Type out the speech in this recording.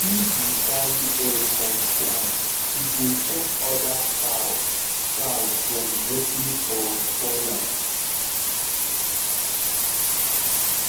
if you carry egg on time e go stop other fowl fowl from breaking or spoil am